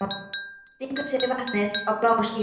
Stingur sér í vatnið á bláu skýlunni.